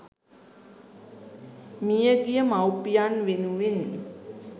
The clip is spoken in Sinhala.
මියගිය මවුපියන් වෙනුවෙන්